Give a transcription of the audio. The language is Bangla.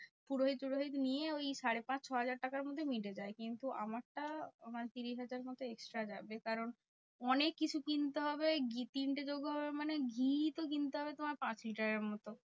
পুরোহিত ফুরোহিত নিয়ে ওই সাড়ে পাঁচ ছ হাজার টাকার মধ্যেই মিটে যায়। কিন্তু আমারটা মানে ত্রিশ হাজার টাকা মতো extra যাবে। কারণ অনেককিছু কিনতে হবে। ঘি তিনটে দেবো মানে ঘি তো কিনতে হবে তোমার পাঁচ লিটারের মতো।